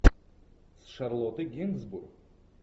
с шарлоттой генсбур